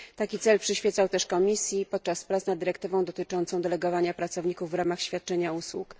Taki cel przyświecał też Komisji podczas prac nad dyrektywą dotyczącą delegowania pracowników w ramach świadczenia usług.